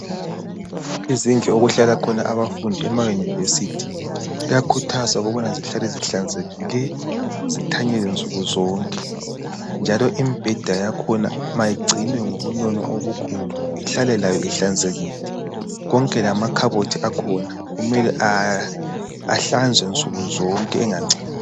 Izindlu okuhlala khona abafundi emayunivesithi kuyakhuthazwa ukubana zihlale zihlanzekile nsuku zonke njalo imibheda yakhona mayigcinwe ngobunono obukhulu ihlale layo ihlanzekile konke lamakhabothi akhona kumele ahlanzwe nsuku zonke engangcoli